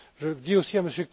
Je dis aussi